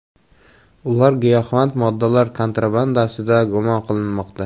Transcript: Ular giyohvand moddalar kontrabandasida gumon qilinmoqda.